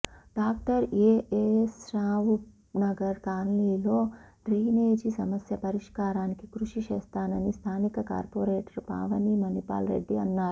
doctor A S Rao Nagar కాలనీలో drainage సమస్య పరిష్కారానికి కృషి చేస్తానని స్థానిక కార్పొరేటర్ పావని మణిపాల్ రెడ్డి అన్నారు